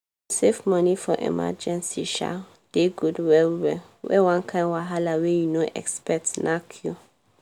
to save moni for emergency um dey good well well when one kind wahala wey you no expect knack you